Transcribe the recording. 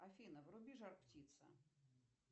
афина вруби жар птица